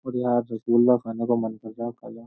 अरे यार रसगुल्ला खाने का मन कर रहा है ।